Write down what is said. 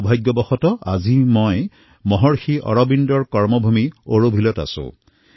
সৌভাগ্যক্ৰমে মই আজি মহৰ্ষি অৰবিন্দৰ কৰ্মভূমি অৰোভিল ত উপস্থি আছোঁ